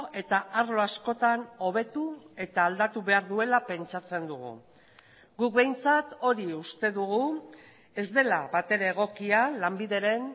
eta arlo askotan hobetu eta aldatu behar duela pentsatzen dugu guk behintzat hori uste dugu ez dela batere egokia lanbideren